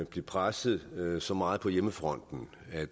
blev presset så meget på hjemmefronten at